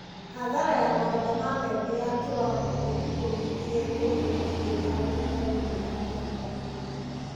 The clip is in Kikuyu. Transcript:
Hathara ya magetha ma mbembe ya kĩwango gĩa ikũmi nginya ikũmi na igĩrĩ harĩ igana nĩ ya tangathirwo.